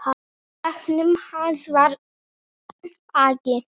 Í bekknum hans var agi.